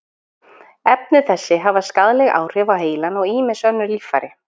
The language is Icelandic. Efni þessi hafa skaðleg áhrif á heilann og ýmis önnur líffæri.